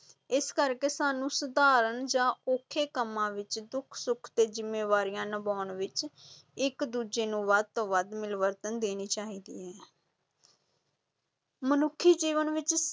ਇਸ ਕਰਕੇ ਸਾਨੂੰ ਸਧਾਰਨ ਜਾਂ ਔਖੇ ਕੰਮਾਂ ਵਿੱਚ ਦੁੱਖ ਸੁੱਖ ਤੇ ਜ਼ਿੰਮੇਵਾਰੀਆਂ ਨਿਭਾਉਣ ਵਿੱਚ ਇੱਕ-ਦੂਜੇ ਨੂੰ ਵੱਧ ਤੋਂ ਵੱਧ ਮਿਲਵਰਤਨ ਦੇਣੀ ਚਾਹੀਦੀ ਹੈ ਮਨੁੱਖੀ ਜੀਵਨ ਵਿੱਚ